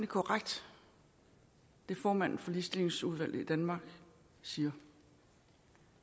korrekt det formanden for ligestillingsudvalget i danmark siger